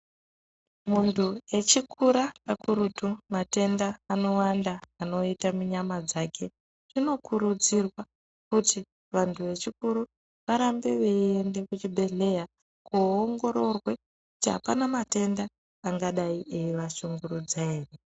Muntuvechikura kakurutu matenda anowanda anoita munyama dzake. Zvinokurudzirwa kuti vantu vechikuru, varambe veiende kuchibhedhleya , koongororwe kuti apana matenda angadai eivashungurudza ere.